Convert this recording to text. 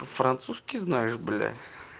французский знаешь блять